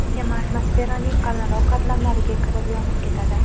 Kema atmosferaning qalinroq qatlamlariga kirib, yonib ketadi .